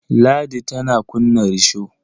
Ladi tana kunna risho.